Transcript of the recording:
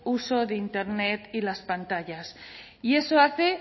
uso de internet y las pantallas y eso hace